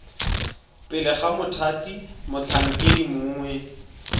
pele ga mothati motlhankedi mongwe